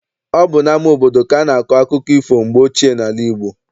Ọ bụ n'ama obodo ka a na-akọ akụkọ ifo mgbe ochie n'ala Igbo.